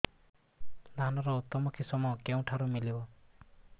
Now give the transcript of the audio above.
ଧାନର ଉତ୍ତମ କିଶମ କେଉଁଠାରୁ ମିଳିବ